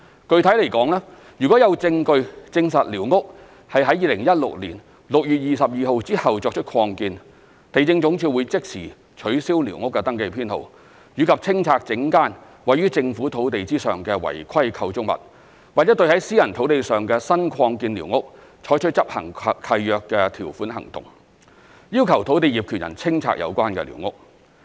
具體而言，若有證據證實寮屋是在2016年6月22日後作出擴建，地政總署會即時取消寮屋登記編號，以及清拆整間位於政府土地上的違規構築物，或對在私人土地上的新擴建寮屋採取執行契約條款行動，要求土地業權人清拆有關寮屋。